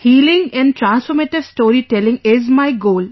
'Healing and transformative storytelling' is my goal